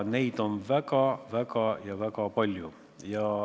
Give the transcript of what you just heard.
Neid on väga, väga ja väga palju.